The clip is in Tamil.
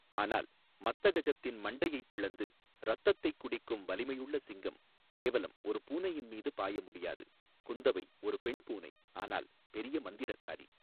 ஆனால் மத்தகஜத்தின் மண்டையைப் பிளந்து இரத்தத்தைக் குடிக்கும் வலிமையுள்ள சிங்கம் கேவலம் ஒரு பூனையின் மீது பாய முடியாது குந்தவை ஒரு பெண் பூனை ஆனால் பெரிய மந்திரக்காரி.